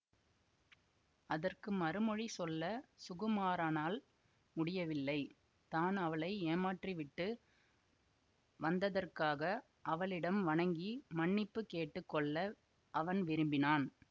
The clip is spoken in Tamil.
அதற்கு மறுமொழி சொல்ல சுகுமாரனால் முடியவில்லை தான் அவளை ஏமாற்றிவிட்டு வந்ததற்காக அவளிடம் வணங்கி மன்னிப்பு கேட்டு கொள்ள அவன் விரும்பினான்